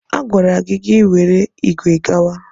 A gwara gị ka i were ígwè gawa!